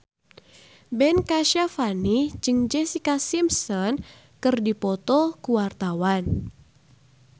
Ben Kasyafani jeung Jessica Simpson keur dipoto ku wartawan